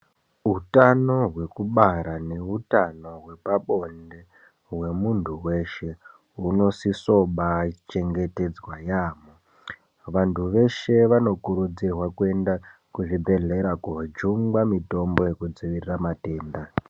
Utano hwekubara neutano hwepabonde hwemuntu weshe hunosiso kubaachengetedzwa yaamho. Vantu veshe vanokurudzirwa kuenda kuzvibhedhlera koojungwa mitombo yekudzivirira matenda.